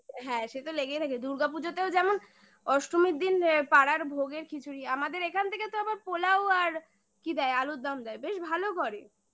হ্যাঁ সে তো লেগেই থাকে দুর্গাপুজোতেও যেমন অষ্টমীর দিন পাড়ার ভোগে আমাদের এখান থেকে তো আবার pulao আর কি দেয় আলুর দম দেয় বেশ ভালো করে